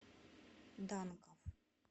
данков